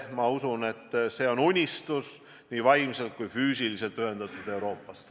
Ma usun, et Rail Baltic on unistus nii vaimselt kui ka füüsiliselt ühendatud Euroopast.